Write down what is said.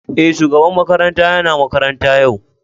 Eh, shugaban makaranta yana makaranta yau.